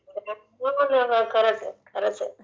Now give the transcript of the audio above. नाही पण खरचं आहे...खरचं आहे...